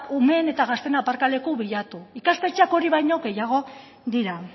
gazteen eta umeen aparkaleku bilatu ikastetxeak hori baino gehiago dira